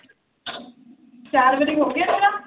ਚਾਰ ਵਾਰੀ ਹੋਗਿਆ ਤੇਰਾ।